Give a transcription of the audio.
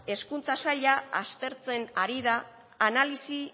hezkuntza saila aztertzen ari da analisi